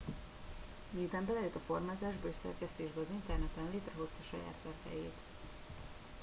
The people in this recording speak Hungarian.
miután belejött a formázásba és szerkesztésbe az interneten létrehozhat saját webhelyet